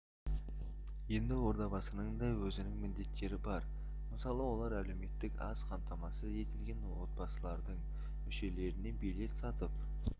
енді ордабасының да өзінің міндеттері бар мысалы олар әлеуметтік аз қамтамасыз етілген отбасылардың мүшелеріне билет сатып